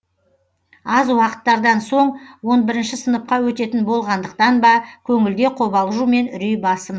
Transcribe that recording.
аз уақыттардан соң он бірінші сыныпқа өтетін болғандықтан ба көңілде қобалжу мен үрей басым